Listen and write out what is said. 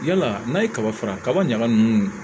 Yala n'a ye kaba fara kaba ɲaga nunnu